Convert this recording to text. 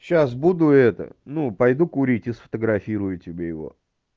сейчас буду это ну пойду курить и сфотографирую тебе его